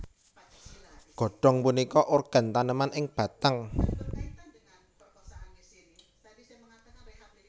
Godong punika organ taneman ing batang